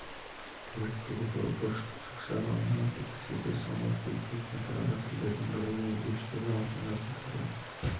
тег бұл бұрыштық жақшаға алынған кілттік сөздер соңғы кезде кең тараған тілдердің бірі өңдеушілерге алдыңғы қатарлы